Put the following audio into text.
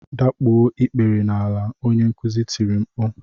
Dakpuo ikpere n'ala, onye nkuzi tiri mkpu!